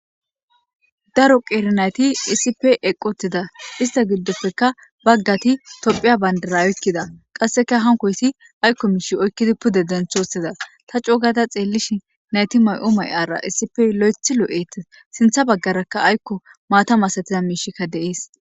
Daro qeeri nayti isipe eqotida ista giddofeka baggati tophiya bandara oykkida qasseka hankoyssi aykko miishi oykkidi pude denthosiza ta cuugada xeellish nayti may'o may'ara isipe lo'eth lo'et sintha baggarakka aykko maatam asatiza miishikka deies.